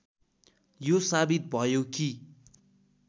यो साबित भयो कि